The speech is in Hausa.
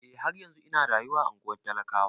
Eh, har yanzun ina rayuwa a ungwar talakawa.